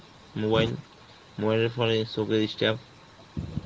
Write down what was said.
mobile~ mobile এ পরে চোখে চাপ